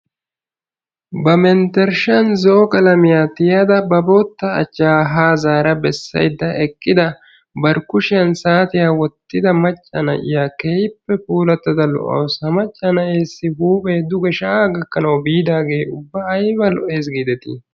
Ba menttershan zo"o qalamiyan tiyada ba bootta achchaa haa zaara bessaydda eqqida bari kushiyan saatiya wottida macca na"iya kehippe puulattada lo"awusu. Ha macca na"eessi huuphee duge shayaa gakanawu biidaagee ubba ayba lo"es giidetii!